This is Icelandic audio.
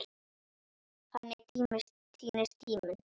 Þannig týnist tíminn.